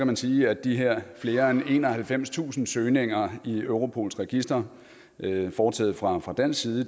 man sige at de her flere end enoghalvfemstusind søgninger i europols register foretaget fra fra dansk side